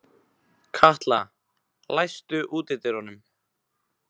Katla, læstu útidyrunum.